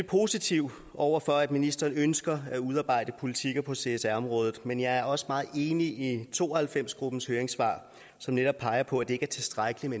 positiv over for at ministeren ønsker at udarbejde politikker på csr området men jeg er også meget enig i to og halvfems gruppens høringssvar som netop peger på at det ikke er tilstrækkeligt